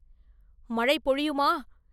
“மழை பொழியுமா?